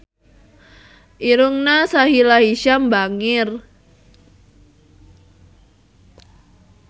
Irungna Sahila Hisyam bangir